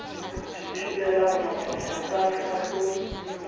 se thibelang mafafatsane a ko